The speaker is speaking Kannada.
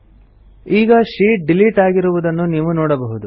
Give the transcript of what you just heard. ಈಗ ಶೀಟ್ ಡಿಲಿಟ್ ಆಗಿರುವುದನ್ನು ನೀವು ನೋಡಬಹುದು